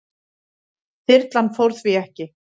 Þyrlan fór því ekki.